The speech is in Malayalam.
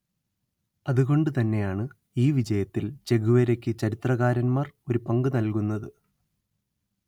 അതുകൊണ്ടുതന്നെയാണ് ഈ വിജയത്തിൽ ചെഗുവേരയ്ക്ക് ചരിത്രകാരന്മാർ ഒരു പങ്ക് നല്കുന്നത്